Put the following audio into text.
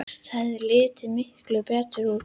Það hefði litið miklu betur út.